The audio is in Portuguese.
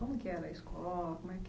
Como que era a escola? Como que era